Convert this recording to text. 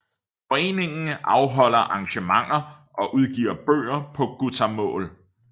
Foreningen afholder arrangementer og udgiver bøger på gutamål